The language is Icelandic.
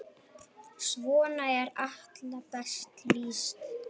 Svona er Atla best lýst.